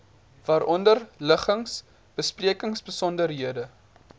waaronder liggings besprekingsbesonderhede